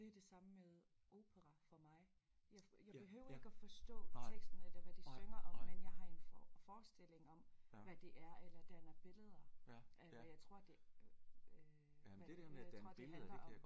Det er det samme med opera for mig jeg jeg behøver ikke at forstå teksten eller hvad de synger om men jeg har en forestilling om hvad det er eller danner billeder af hvad jeg tror det øh hvad jeg tror det handler om